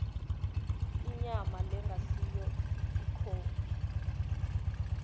inyama lengasiyo ikhophi